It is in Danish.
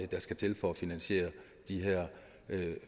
der skal til for at finansiere de her